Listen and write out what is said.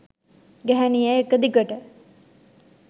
ගැහැණිය එක දිගට